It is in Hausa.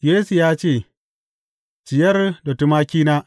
Yesu ya ce, Ciyar da tumakina.